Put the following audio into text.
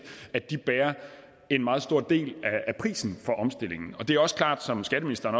bærer en meget stor del af prisen for omstillingen og det er også klart som skatteministeren